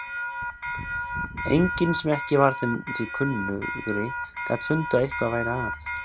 Enginn sem ekki var þeim því kunnugri gat fundið að eitthvað væri að.